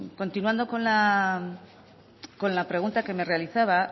continuando con la pregunta que me realizaba